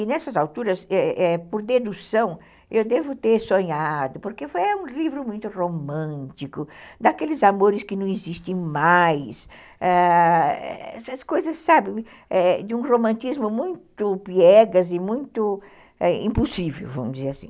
E nessas alturas, é é por dedução, eu devo ter sonhado, porque foi um livro muito romântico, daqueles amores que não existem mais, ãh coisas de um romantismo muito piegas e muito impossível, vamos dizer assim.